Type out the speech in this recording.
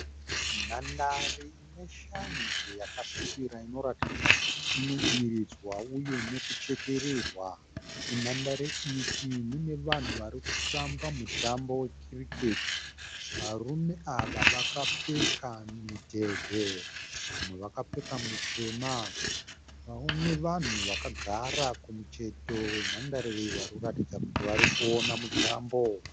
Nhandare ine shanje yakasvibira inoratidza kuti inodiridzwa uye nekuchekererwa. Munhandare iyi mune vanhu vari kutamba mutambo we cricket. Varume ava vakapfeka midhebhe. Vamwe vakapfeka mitema nevanhu vakagara kumucheto wenhandare iyi varikuratidza kuti vari kuona mutambo.